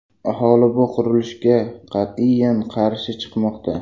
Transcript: Aholi bu qurilishga qat’iyan qarshi chiqmoqda.